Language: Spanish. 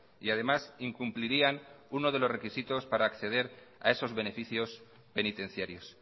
y además incumplirían uno de los requisitos para acceder a esos beneficios penitenciarios